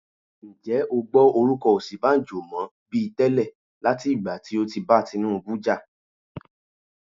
Ǹjẹ́ o gbọ́ orúkọ Osinbajo mọ bi tẹ́lẹ̀ láti ìgbà tí ó ti bá Tinubu jà?